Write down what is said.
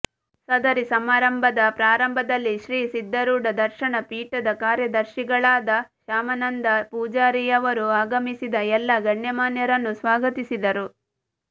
ಸದರಿ ಸಮಾರಂಭದ ಪ್ರಾರಂಭದಲ್ಲಿ ಶ್ರೀ ಸಿದ್ದಾರೂಢ ದರ್ಶನ ಪೀಠದ ಕಾರ್ಯದರ್ಶಿಗಳಾದ ಶಾಮಾನಂದ ಪೂಜೇರಿಯವರು ಆಗಮಿಸಿದ ಎಲ್ಲ ಗಣ್ಯಮಾನ್ಯರನ್ನು ಸ್ವಾಗತಿಸಿದರು